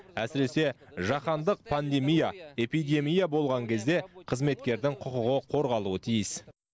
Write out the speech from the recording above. әсіресе жаһандық пандемия эпидемия болған кезде қызметкердің құқығы қорғалуы тиіс